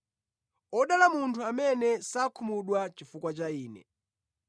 Odala munthu amene sakhumudwa chifukwa cha Ine.”